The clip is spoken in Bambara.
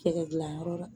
Cɛkɛ dilanyɔrɔ la